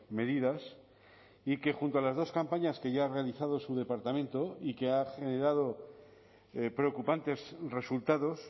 medidas y que junto a las dos campañas que ya ha realizado su departamento y que ha generado preocupantes resultados